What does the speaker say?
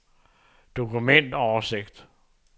dokumentoversigt